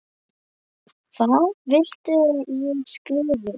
Hvað viltu að ég skrifi?